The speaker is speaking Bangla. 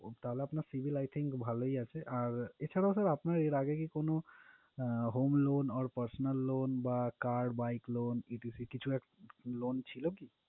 তাহলে আপনার civil I think ভালোই আছে। আর এছাড়াও sir আপনার এর আগে কি কোনো ah home loan or personal loan বা car, bike loan etc কিছু এক loan ছিলো কি?